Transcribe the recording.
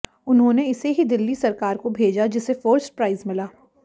उन्होंने इसे ही दिल्ली सरकार को भेजा जिसे फर्स्ट प्राइज मिला